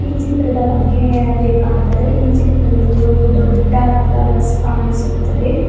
ಈ ಚಿತ್ರದ ಬಗ್ಗೆ ಹೇಳಬೇಕಾದರೆ ಈ ಚೀತ್ರದಲ್ಲಿ ಒಂದು ದೊಡ್ಡದಾದ ಬಸ್ ಕಾಣಿಸುತ್ತದೆ.